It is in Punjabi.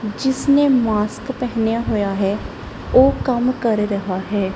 ਜਿਸਨੇ ਮਾਸਕ ਪਹਿਨਿਆ ਹੋਇਆ ਹੈ ਉਹ ਕੰਮ ਕਰ ਰਿਹਾ ਹੈ।